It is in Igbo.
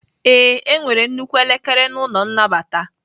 Ee, enwere nnukwu elekere n'ụlọ nnabata.